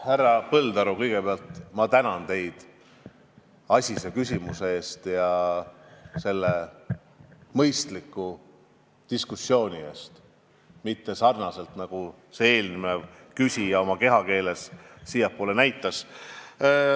Härra Põldaru, kõigepealt ma tänan teid asise küsimuse eest ja selle mõistliku suhtlemise eest, kus te ei kasutanud kehakeelt nagu eelmine küsija.